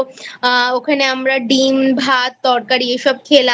ওখানে আমরা ডিম ভাত তরকারিএসব খেলাম।